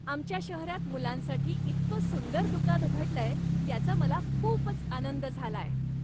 आमच्या शहरात मुलांसाठी इतकं सुंदर दुकान उघडलंय याचा मला खूपच आनंद झालाय.